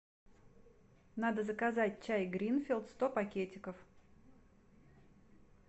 надо заказать чай гринфилд сто пакетиков